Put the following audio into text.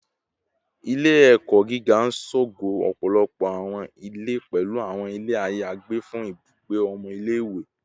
Ile-ẹkọ giga n ṣogo ọpọlọpọ awọn ile, pẹlu awọn ile ayagbe fun ibugbe ọmọ ile-iwe